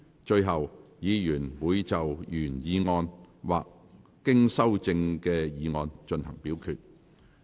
最後，議員會就原議案或經修正的議案進行表決。